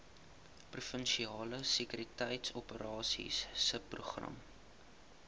provinsiale sekuriteitsoperasies subprogram